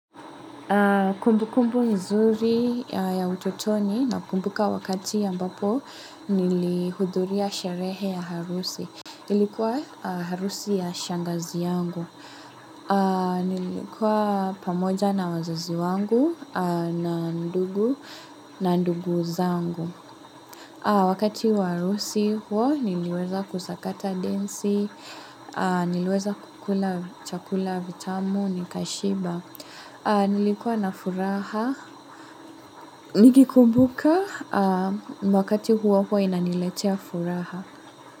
Kumbu kumbu nzuri ya ututoni na kumbuka wakati ambapo nili hudhuri ya sherehe ya harusi. Ilikuwa harusi ya shangazi yangu. Nilikuwa pamoja na wazazi wangu na ndugu na ndugu zangu. Wakati wa harusi huo niliweza kusakata densi, niliweza kukula chakula vitamu ni kashiba. Nilikuwa na furaha, nikikumbuka wakati huo huwa inaniletea furaha.